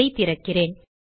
அதை திறக்கிறேன்